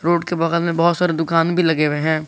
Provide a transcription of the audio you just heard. Road के बगल में बहुत सारे दुकान भी लगे हुए हैं।